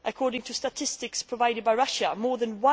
According to statistics provided by Russia, more than